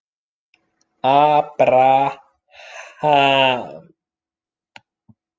Abraham